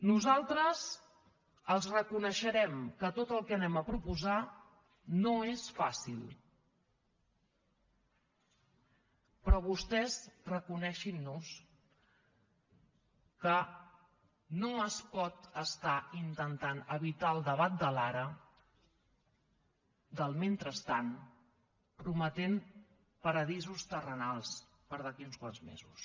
nosaltres els reconeixerem que tot el que anem a proposar no és fàcil però vostès reconeguin nos que no es pot estar intentant evitar el debat de l’ara del mentrestant prometent paradisos terrenals per a d’aquí a uns quants mesos